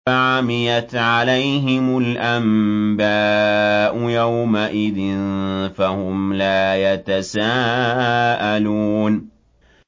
فَعَمِيَتْ عَلَيْهِمُ الْأَنبَاءُ يَوْمَئِذٍ فَهُمْ لَا يَتَسَاءَلُونَ